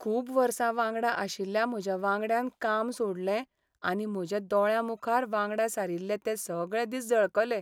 खूब वर्सां वांगडा आशिल्ल्या म्हज्या वांगड्यान काम सोडलें आनी म्हज्या दोळ्यांमुखार वांगडा सारिल्ले ते सगळे दीस झळकले.